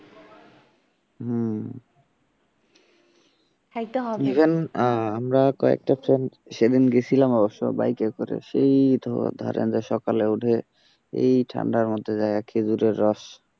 হম even আমরা কয়েকটা জন সেদিন গিয়েছিলাম অবশ্য বাইকে করে সেই ধু ধরেন সকালে উঠে এই ঠান্ডার মধ্যে খেজুরের রস।